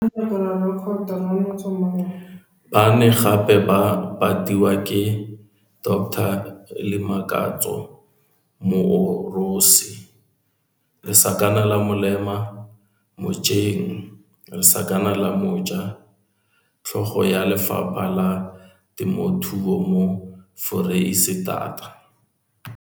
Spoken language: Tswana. Ba ne gape ba patiwa ke Dr Limakatso Moorosi mojeng, tlhogo ya Lefapha la Temothuo mo Foreisetata.